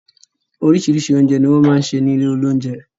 Oríṣiríṣi oúnjẹ ní wọ́n máa ń ṣe ní ilé oúnjẹ